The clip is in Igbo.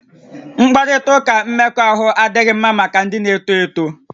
Mkparịta ụka mmekọahụ adịghị mma maka ndị na-eto eto